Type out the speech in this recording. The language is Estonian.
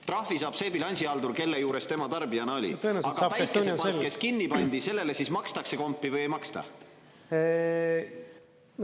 Trahvi saab see bilansihaldur, kelle juures tema tarbijana oli, aga päikesepark, kes kinni pandi, sellele siis makstakse kompi või ei maksta?